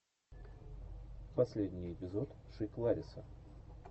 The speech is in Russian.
последний эпизод шик лариса